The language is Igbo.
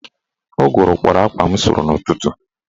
Ụgụrụ kpọrọ akwa m sụrụ n'ụtụtụ